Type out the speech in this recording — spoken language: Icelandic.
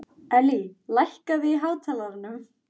Þeir skynja ekki heldur lífsþrá þína.